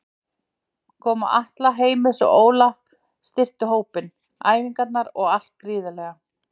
Koma Atla, Heimis og Óla styrktu hópinn, æfingarnar og allt gríðarlega.